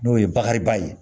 N'o ye bakariba ye